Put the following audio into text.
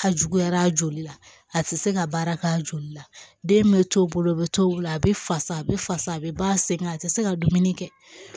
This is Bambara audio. Ka juguyar'a joli la a tɛ se ka baara k'a joli la den bɛ to u bolo bɛ to a bɛ fasa a bɛ fasa a bɛ ba sen ka a tɛ se ka dumuni kɛ